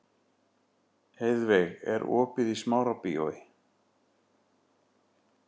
Heiðveig, er opið í Smárabíói?